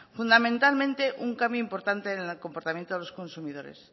fundamentalmente un cambio importante en el comportamiento de los consumidores